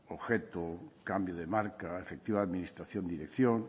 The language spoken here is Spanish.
objeto cambio de marca efectiva administración dirección